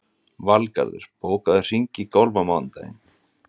Valgarður, bókaðu hring í golf á mánudaginn.